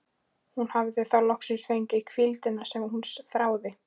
Hún hafði þá loksins fengið hvíldina sem hún þráði.